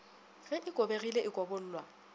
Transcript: ge e kobegile e kobollwa